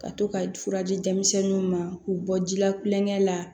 Ka to ka fura di denmisɛnninw ma k'u bɔ ji la kulonkɛ la